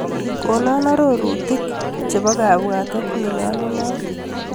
Konaa arorutik nebo kabwatet nenyolunat.